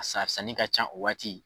A san sanni ka can o waati.